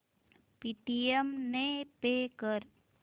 Paytm ने pay कर